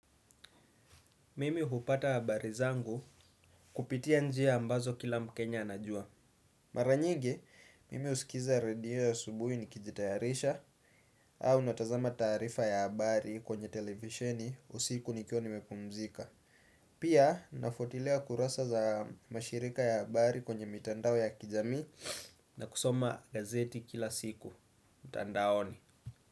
Mimi hupata habari zangu kupitia njia ambazo kila mkenya anajua. Mara nyigi, mimi husikiza radio ya asubuhi nikijitayarisha au natazama taarifa ya habari kwenye televisheni usiku nikiwa nimepumzika. Pia, nafuatilia kurasa za mashirika ya habari kwenye mitandao ya kijamii na kusoma gazeti kila siku. Mtandaoni.